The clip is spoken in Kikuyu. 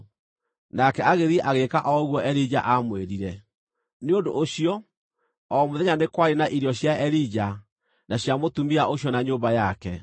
Nake agĩthiĩ agĩĩka o ũguo Elija aamwĩrire. Nĩ ũndũ ũcio o mũthenya nĩ kwarĩ na irio cia Elija, na cia mũtumia ũcio na nyũmba yake.